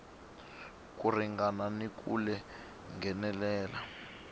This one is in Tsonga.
ko ringana ni ku nghenelela